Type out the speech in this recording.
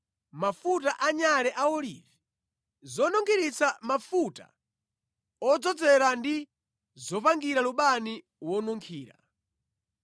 mafuta anyale a olivi, zonunkhiritsa mafuta odzozera ndi zopangira lubani wonunkhira;